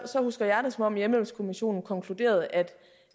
husker jeg det som om hjemmehjælpskommissionen konkluderede